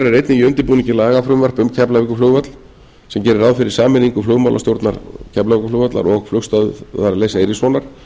einnig í undirbúningi lagafrumvarp um keflavíkurflugvöll sem gerir ráð fyrir sameiningu f flugmálastjórnar keflavíkurflugvallar og flugstöðvar leifs eiríkssonar